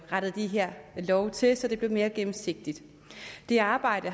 rettet de her love til så det blev mere gennemsigtigt det arbejde